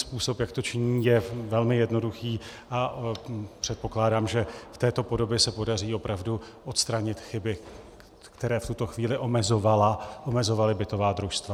Způsob, jak to činí, je velmi jednoduchý a předpokládám, že v této podobě se podaří opravdu odstranit chyby, které v tuto chvíli omezovaly bytová družstva.